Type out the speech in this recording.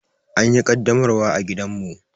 An yi ƙaddamarwar a gidanmu.